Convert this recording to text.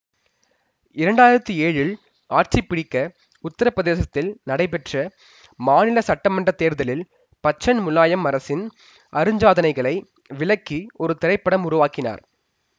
இரண்டாயிரத்தி ஏழில் ஆட்சிப்பிடிக்க உத்திரப்பிரதேசத்தில் நடைபெற்ற மாநில சட்டமன்றத்தேர்தலில் பச்சன் முலாயம் அரசின் அருஞ்சாதனைகளை விளக்கி ஒருதிரைப்படம் உருவாக்கினார்